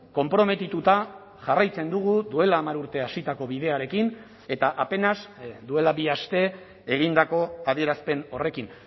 konprometituta jarraitzen dugu duela hamar urte hasitako bidearekin eta apenas duela bi aste egindako adierazpen horrekin